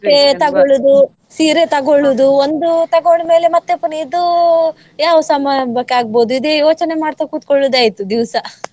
ಬಟ್ಟೆ ತಗೊಳ್ಳುದು ಸೀರೆ ತಗೊಳ್ಳುದು ಒಂದು ತಗೊಂಡ್ಮೇಲೆ ಮತ್ತೆ ಪುನಃ ಇದು ಯಾವ ಸಮಾರಂಭಕ್ಕೆ ಆಗ್ಬಹುದು ಇದು ಯೋಚನೆ ಮಾಡ್ತಾ ಕುತ್ಕೊಳ್ಳುದೆ ಆಯ್ತು ದಿವ್ಸ .